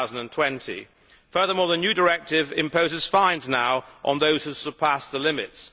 2020. Furthermore, the new directive now imposes fines on those who surpass the limits.